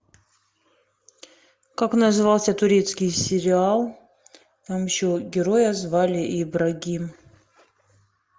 как назывался турецкий сериал там еще героя звали ибрагим